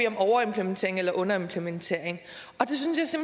om overimplementering eller underimplementering det synes